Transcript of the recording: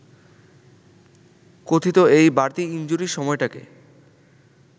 কথিত এই বাড়তি ইনজুরি সময়টাকে